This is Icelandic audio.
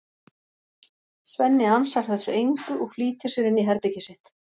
Svenni ansar þessu engu og flýtir sér inn í herbergið sitt.